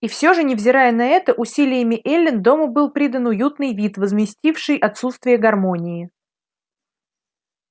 и все же невзирая на это усилиями эллин дому был придан уютный вид возместивший отсутствие гармонии